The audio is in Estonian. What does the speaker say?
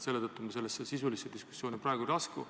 Seetõttu ma praegu sisulisse diskussiooni ei lasku.